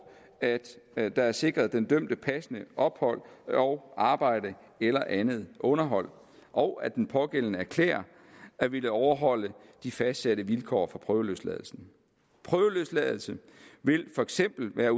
at der er sikret den dømte passende ophold og arbejde eller andet underhold og at den pågældende erklærer at ville overholde de fastsatte vilkår for prøveløsladelsen prøveløsladelse vil for eksempel være